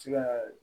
Se ka